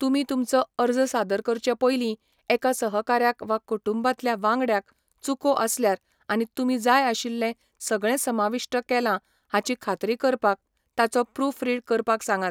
तुमी तुमचो अर्ज सादर करचे पयलीं, एका सहकाऱ्याक वा कुटुंबांतल्या वांगड्याक चुको आसल्यार आनी तुमी जाय आशिल्लें सगळें समाविष्ट केलां हाची खात्री करपाक ताचो प्रूफरीड करपाक सांगात.